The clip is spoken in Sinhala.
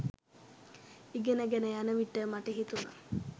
ඉගෙන ගෙන යන විට මට හිතුණා